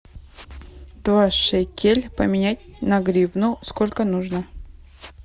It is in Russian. два шекель поменять на гривну сколько нужно